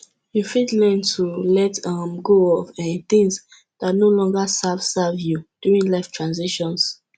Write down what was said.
you fit learn to let um go of um things dat no longer serve serve you during life transitions